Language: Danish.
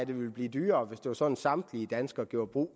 det ville blive dyrere hvis det var sådan at samtlige danskere gjorde brug